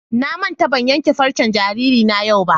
Na manta ban ƴanke farcen jaririna yau ba.